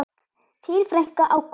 Þín frænka, Ágústa.